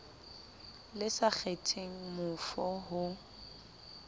le sa kgetheng mofo ho